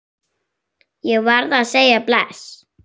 Ég varð að segja bless.